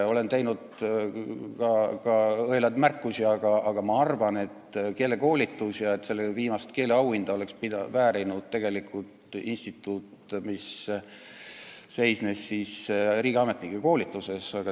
Olen teinud ka õelaid märkusi, aga ma arvan, et keelekoolitus on vajalik ja et viimast keeleauhinda oleks väärinud tegelikult instituut, kes tegi riigiametnikele koolituse.